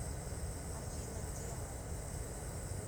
афина где мы